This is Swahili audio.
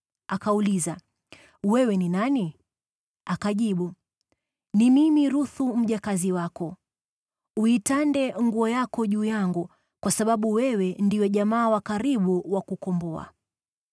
Akauliza, “Wewe ni nani?” Akajibu, “Ni mimi Ruthu, mjakazi wako. Uitande nguo yako juu yangu, kwa sababu wewe ndiwe jamaa wa karibu wa kutukomboa.”